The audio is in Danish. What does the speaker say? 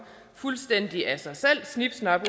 fuldstændig af sig selv snip snap